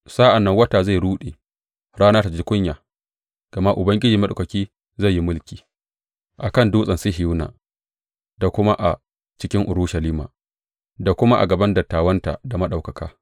Sa’an nan wata zai ruɗe, rana ta ji kunya; gama Ubangiji Maɗaukaki zai yi mulki a kan Dutsen Sihiyona da kuma a cikin Urushalima, da kuma a gaban dattawanta, da ɗaukaka.